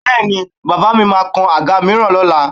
Bẹ́ẹ̀ni, bàbà mi máa kan àga mìíràn lọ́la?